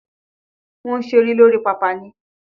Wọ́n ń ṣeré lórí pápá ni.